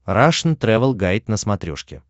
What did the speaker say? рашн тревел гайд на смотрешке